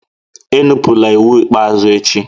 Enupụla iwu ikpeazụ echi!